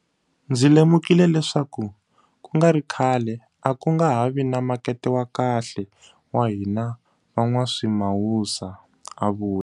Ndzi lemukile leswaku ku nga ri khale a ku nga ha vi na makete wa kahle wa hina van'waswimawusa, a vula.